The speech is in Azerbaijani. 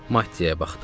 Mattiyə baxdım.